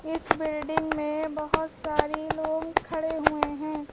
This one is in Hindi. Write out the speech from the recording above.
इस बिल्डिंग में बहुत सारे लोग खड़े हुए हैं।